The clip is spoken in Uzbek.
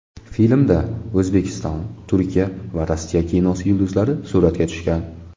Filmda O‘zbekiston, Turkiya va Rossiya kinosi yulduzlari suratga tushgan.